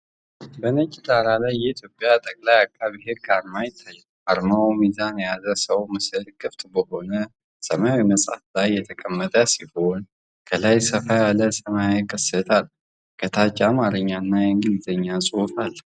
በነጭ ዳራ ላይ የኢትዮጵያ ጠቅላይ አቃቤ ህግ አርማ ይታያል። አርማው ሚዛን የያዘ ሰው ምስል ክፍት በሆነ ሰማያዊ መጽሐፍ ላይ የተቀመጠ ሲሆን፣ ከላይ ሰፋ ያለ ሰማያዊ ቅስት አለው። ከታች የአማርኛና የእንግሊዝኛ ጽሑፍ አለ።